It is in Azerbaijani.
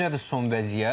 Necədir son vəziyyət?